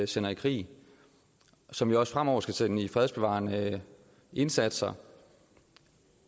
sender i krig og som vi også fremover skal sende ud til fredsbevarende indsatser